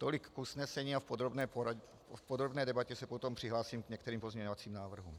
Tolik k usnesení a v podrobné debatě se potom přihlásím k některým pozměňovacím návrhům.